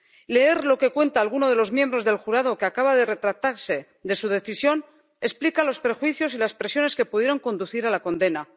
Leer lo que cuenta alguno de los miembros del jurado, que acaba de retractarse de su decisión, explica los prejuicios y las presiones que pudieron conducir a la condena.